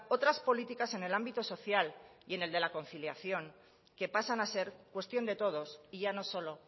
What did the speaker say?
otras políticas en el ámbito social y en el de la conciliación que pasan a ser cuestión de todos y ya no solo